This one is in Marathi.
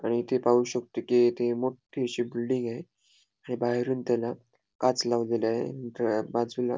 आणि इथे पाहू शकतो कि इथे मोठ्ठी अशी बिल्डिंग आहे आणि बाहेरून त्याला काच लावलेली आहे. बाजूला ---